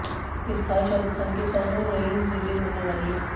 इस साल शाहरूख खान की फैन और रईस रिलीज होने वाली है